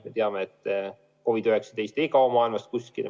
Me teame, et COVID-19 ei kao maailmast kuskile.